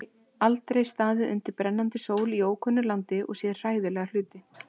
Þau aldrei staðið undir brennandi sól í ókunnu landi og séð hræðilega hluti.